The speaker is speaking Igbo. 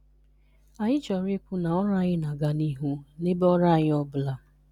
Anyị chọrọ ikwu na ọrụ anyị na -aga n' ihu n'ebe ọrụ anyị ọbụla